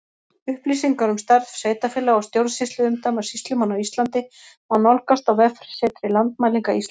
Upplýsingar um stærð sveitarfélaga og stjórnsýsluumdæma sýslumanna á Íslandi má nálgast á vefsetri Landmælinga Íslands.